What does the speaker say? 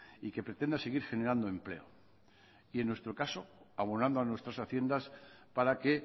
y que pretenda seguir generando empleo y en nuestro caso abonando a nuestras haciendas para que